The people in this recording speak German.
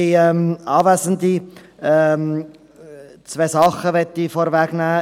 Zwei Dinge möchte ich vorwegnehmen.